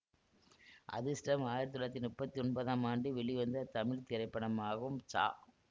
அதிர்ஷ்டம் ஆயிரத்தி தொள்ளாயிரத்தி முப்பத்தி ஒன்பதாம் ஆண்டு வெளிவந்த தமிழ் திரைப்படமாகும் ச